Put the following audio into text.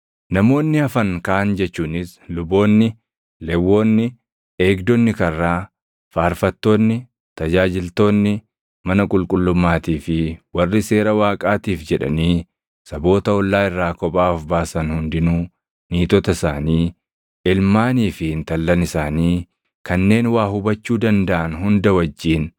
“Namoonni hafan kaan jechuunis luboonni, Lewwonni, eegdonni karraa, faarfattoonni, tajaajiltoonni mana qulqullummaatii fi warri Seera Waaqaatiif jedhanii saboota ollaa irraa kophaa of baasan hundinuu niitota isaanii, ilmaanii fi intallan isaanii kanneen waa hubachuu dandaʼan hunda wajjin